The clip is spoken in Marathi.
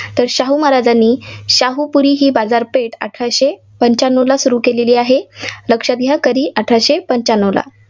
तर शाहू महाराजांनी शाहूपुरी ही बाजारपेठ अठराशे पंच्यानवला सुरू केलेली आहे. लक्षात घ्या, कधी अठराशे पंच्यानवला.